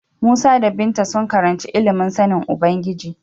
Musa da Binta sun karanci ilimin sanin Ubangiji.